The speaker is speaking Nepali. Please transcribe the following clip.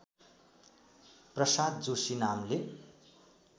प्रसाद जोशी नामले